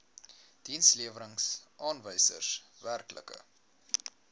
dienslewerings aanwysers werklike